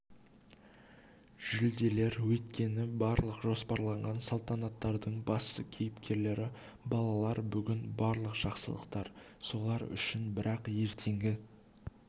жүлделер өйткені барлық жоспарланған салтанаттардың басты кейіпкерлері балалар бүгін барлық жақсылықтар солар үшін бірақ ертеңгі